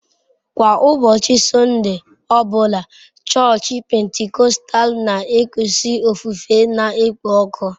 Kwa ụbọchị Sọnde ọ bụla, chọọchị Pentikọstal na-ekusi ofufe na-ekpo ọkụ.